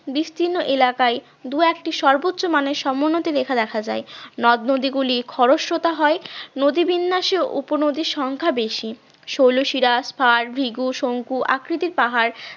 বিস্তীর্ণ এলাকায় দুই একটি সর্বোচ্চ মানের সমোন্নতি রেখা দেখা যায়, এখনো নদ-নদীগুলি খরস্রোতা হয় নদী বিন্যাসেও উপনদীর সংখ্যা বেশি শৈলশিরা খাল ভিগু শঙ্কু আকৃতির পাহাড়